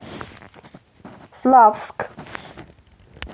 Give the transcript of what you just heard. славск